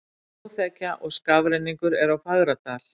Snjóþekja og skafrenningur er á Fagradal